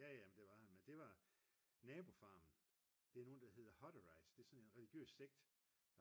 jaja men det var jeg men det var nabofarmen det er nogen der hedder Hutterites det er sådan en religiøs sekt